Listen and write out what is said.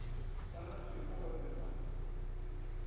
sa gathema ba be ba